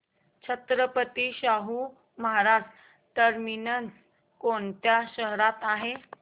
Chhatrapati Shahu Maharaj terminus कोणत्या शहरात आहे